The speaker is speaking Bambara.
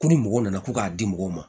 Ko ni mɔgɔ nana ko k'a di mɔgɔw ma